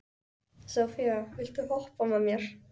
Sophia, viltu hoppa með mér?